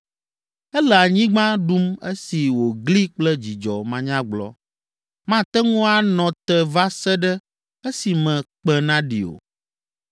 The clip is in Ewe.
Ele anyigba ɖum esi wògli kple dzidzɔ manyagblɔ, mate ŋu anɔ te va se ɖe esime kpẽ naɖi o.